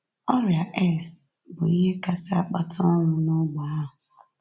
Ọrịa AIDS bụ ihe kasị akpata ọnwụ n’ógbè ahụ